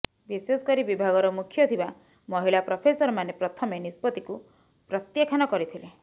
ବିଶେଷକରି ବିଭାଗର ମୁଖ୍ୟ ଥିବା ମହିଳା ପ୍ରଫେସରମାନେ ପ୍ରଥମେ ନିଷ୍ପତ୍ତିକୁ ପ୍ରତ୍ୟାଖାନ କରିଥିଲେ